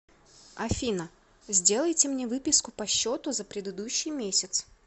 афина сделайте мне выписку по счету за предыдущий месяц